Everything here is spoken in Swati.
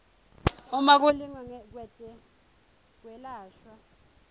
uma kulingwa kwetekwelashwa